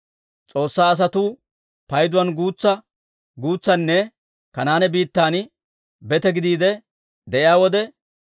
S'oossaa asatuu payduwaan guutsanne Kanaane biittan bete gidiide de'iyaa wode,